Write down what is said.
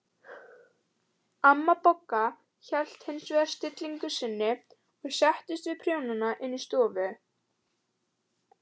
Amma Bogga hélt hins vegar stillingu sinni og settist við prjóna inn í stofu.